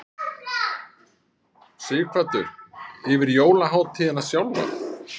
Sighvatur: Yfir jólahátíðina sjálfa?